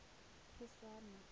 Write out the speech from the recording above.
phešwana